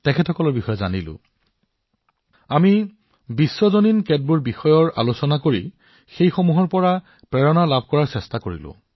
আমি বহুতো বৈশ্বিক বিষয়ৰ বিষয়েও কথা পাতিছো সেইসমূহৰ পৰা অনুপ্ৰেৰণা লবলৈ চেষ্টা কৰিছো